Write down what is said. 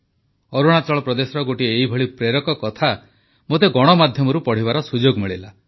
ଅରୁଣାଚଳ ପ୍ରଦେଶର ଗୋଟିଏ ଏଇଭଳି ପ୍ରେରଣାଦାୟୀ କଥା ମୋତେ ଗଣମାଧ୍ୟମରୁ ପଢ଼ିବାର ସୁଯୋଗ ମିଳିଲା